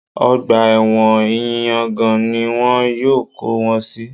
Ọgbà ẹ̀wọ̀n ìyangàn ni wọn yóò kó wọn sí